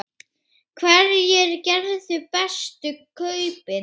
Hverjir gerðu bestu kaupin?